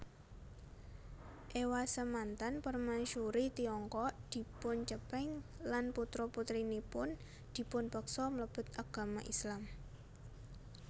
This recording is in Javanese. Ewasemanten Permaisuri Tiongkok dipuncepeng lan putra putrinipun dipunpeksa mlebet agama Islam